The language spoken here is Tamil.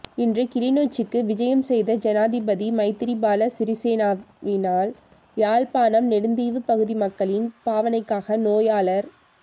இன்று கிளிநொச்சிக்கு விஜயம் செய்த ஜனாதிபதி மைத்திரிபால சிறிசேனவினால் யாழ்ப்பாணம் நெடுந்தீவுப் பகுதி மக்களின் பாவனைக்காக நோயாளர்